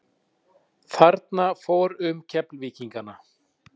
Kolefni kemur við sögu í öllu okkar daglega lífi.